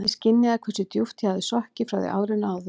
Ég skynjaði hversu djúpt ég hafði sokkið frá því árinu áður.